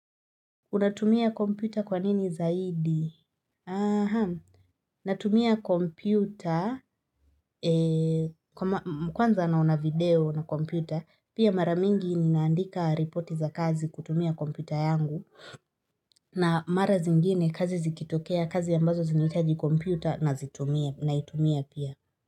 Unatumia kompyuta kwa nini zaidi? Aha, natumia kompyuta, mkwanza naona video na kompyuta, pia maramingi ninaandika ripoti za kazi kutumia kompyuta yangu, na mara zingine kazi zikitokea kazi ambazo zinaitaji kompyuta na itumia pia.